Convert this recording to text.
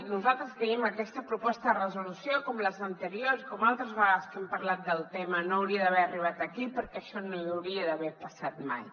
nosaltres creiem que aquesta proposta de resolució com les anteriors com altres vegades que hem parlat del tema no hauria d’haver arribat aquí perquè això no hauria d’haver passat mai